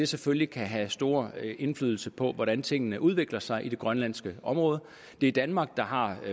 selvfølgelig have stor indflydelse på hvordan tingene udvikler sig i det grønlandske område det er danmark der har